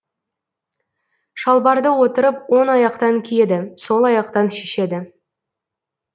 шалбарды отырып оң аяқтан киеді сол аяқтан шешеді